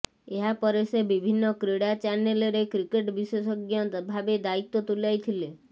ଏହା ପରେ ସେ ବିଭିନ୍ନ କ୍ରୀଡ଼ା ଚ୍ୟାନେଲରେ କ୍ରିକେଟ୍ ବିଶେଷଜ୍ଞ ଭାବେ ଦାୟିତ୍ବ ତୁଲାଇଥିଲେ